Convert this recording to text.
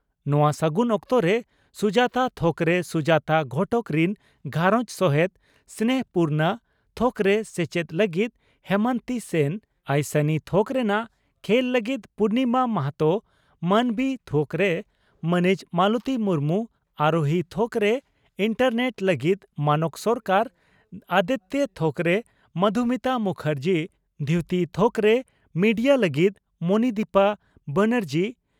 ᱱᱚᱣᱟ ᱥᱟᱹᱜᱩᱱ ᱚᱠᱛᱚᱨᱮ ᱥᱩᱡᱟᱛᱟ ᱛᱷᱚᱠᱨᱮ ᱥᱩᱡᱟᱛᱟ ᱜᱷᱚᱴᱚᱠ ᱨᱤᱱ ᱜᱷᱟᱨᱚᱸᱡᱽ ᱥᱚᱦᱮᱛ, ᱥᱱᱮᱦᱚᱯᱩᱨᱱᱟ ᱛᱷᱚᱠᱨᱮ ᱥᱮᱪᱮᱫ ᱞᱟᱹᱜᱤᱫ ᱦᱮᱢᱚᱱᱛᱤ ᱥᱮᱱ, ᱟᱭᱥᱟᱱᱤ ᱛᱷᱚᱠ ᱨᱮᱱᱟᱜ ᱠᱷᱮᱞ ᱞᱟᱹᱜᱤᱫ ᱯᱩᱨᱱᱤᱢᱟ ᱢᱟᱦᱟᱛᱚ, ᱢᱟᱱᱚᱵᱤ ᱛᱷᱚᱠᱨᱮ ᱢᱟᱹᱱᱤᱡ ᱢᱟᱞᱚᱛᱤ ᱢᱩᱨᱢᱩ, ᱟᱨᱚᱦᱤ ᱛᱷᱚᱠᱨᱮ ᱮᱱᱴᱟᱨᱱᱮᱴ ᱞᱟᱹᱜᱤᱫ ᱢᱟᱱᱚᱠᱚ ᱥᱚᱨᱠᱟᱨ, ᱚᱫᱮᱛᱭᱚ ᱛᱷᱚᱠᱨᱮ ᱢᱚᱫᱷᱩᱢᱤᱛᱟ ᱢᱩᱠᱷᱟᱨᱡᱤ, ᱫᱷᱭᱩᱛᱤ ᱛᱷᱚᱠᱨᱮ ᱢᱮᱰᱤᱭᱟ ᱞᱟᱹᱜᱤᱫ ᱢᱚᱱᱤᱫᱤᱯᱟ ᱵᱟᱱᱮᱨᱡᱤ